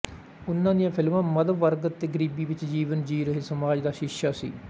ਉਨ੍ਹਾਂ ਦੀਆਂ ਫਿਲਮਾਂ ਮਧ ਵਰਗ ਅਤੇ ਗਰੀਬੀ ਵਿੱਚ ਜੀਵਨ ਜੀ ਰਹੇ ਸਮਾਜ ਦਾ ਸ਼ੀਸ਼ਾ ਸੀ